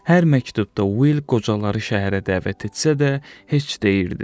Hər məktubda Will qocaları şəhərə dəvət etsə də, heç deyirdi.